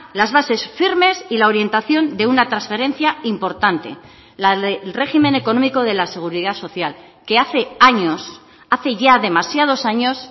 las bases firmes y la orientación de una transferencia importante la del régimen económico de la seguridad social que hace años hace ya demasiados años